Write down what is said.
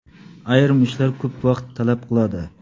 Ayrim ishlar ko‘p vaqt talab qiladi.